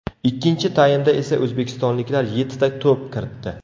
Ikkinchi taymda esa o‘zbekistonliklar yettita to‘p kiritdi.